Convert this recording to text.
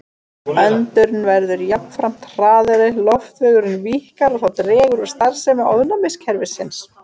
Öndun verður jafnframt hraðari, loftvegurinn víkkar og það dregur úr starfsemi ónæmiskerfisins.